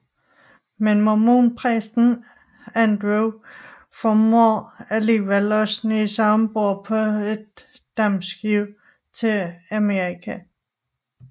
Men mormonpræsten Andrew formår alligevel at snige sig om bord på et dampskib til Amerika